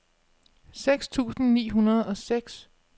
seks tusind ni hundrede og seks